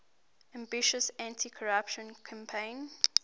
ambitious anticorruption campaign